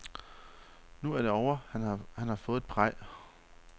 Nu er det ovre, han har fået et praj.